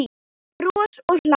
Bros og hlátur.